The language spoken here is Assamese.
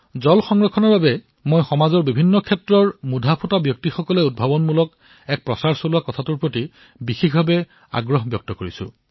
মই বিশেষ ৰূপত বিভিন্ন ক্ষেত্ৰৰ খ্যাতনামা ব্যক্তিসকলক জল সংৰক্ষণৰ বাবে উদ্ভাৱনীমূলক শিবিৰৰ নেতৃত্ব প্ৰদান কৰিবলৈ আহ্বান জনাইছো